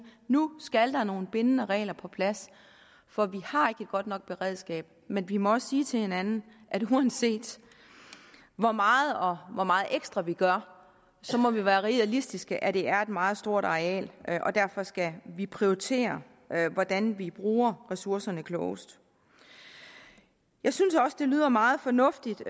nu skal der nogle bindende regler på plads for vi har ikke et godt nok beredskab men vi må også sige til hinanden at uanset hvor meget vi gør og hvor meget ekstra vi gør må vi være realistiske at det er et meget stort areal og derfor skal vi prioritere hvordan vi bruger ressourcerne klogest jeg synes også det lyder meget fornuftigt